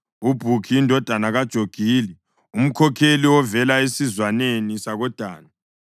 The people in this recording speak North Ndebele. uBhukhi indodana kaJogili, umkhokheli ovela esizwaneni sakoDani;